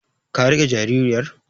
Ka riƙe jaririyar?